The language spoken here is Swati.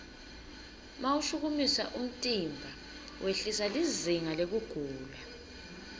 mawushukumisa umtimba wehlisa lizinga lekugula